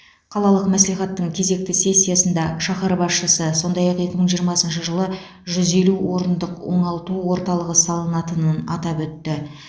қалалық мәслихаттың кезекті сессиясында шаһар басшысы сондай ақ екі мың жиырмасыншы жылы жүз елу орындық оңалту орталығы салынатынын атап өтті